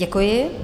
Děkuji.